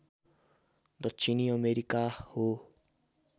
दक्षिणी अमेरिका हो